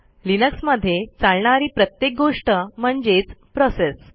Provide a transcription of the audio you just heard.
लिनक्समध्ये चालणारी प्रत्येक गोष्ट म्हणजेच प्रोसेस